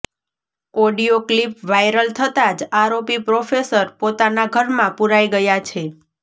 audio clip viral થતા જ આરોપી પ્રોફેસર પોતાના ઘરમાં પુરાઈ ગયા છે